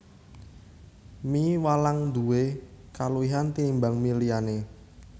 Mie walang nduwé kaluwihan tinimbang mie liyané